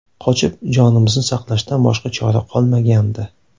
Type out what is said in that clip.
Qochib, jonimizni saqlashdan boshqa chora qolmagandi.